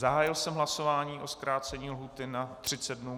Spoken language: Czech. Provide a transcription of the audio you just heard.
Zahájil jsem hlasování o zkrácení lhůty na 30 dnů.